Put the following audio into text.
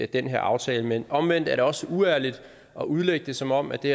den her aftale men omvendt er det også uærligt at udlægge det som om at det